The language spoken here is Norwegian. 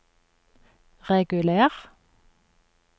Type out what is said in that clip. reguler